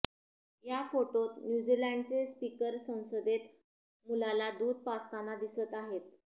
या फोटोत न्यूझीलँडचे स्पीकर संसदेतच मुलाला दूध पाजताना दिसत आहेत